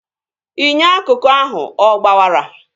Inyo akụkụ ahụ ọ gbawara?